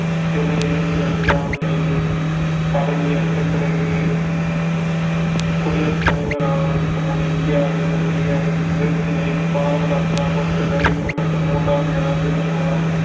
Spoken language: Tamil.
சூலை இருவத்தி அஞ்சாம் தேதி பதவியேற்ற பிறகு குடியரசுத் தலைவர் ஆவதற்கு முன் இந்தியாவின் உரிய விருதினை பாரத ரத்னா கொடுத்து கௌரவிக்கப்பட்ட மூன்றாவது ஜனாதிபதி ஆவார்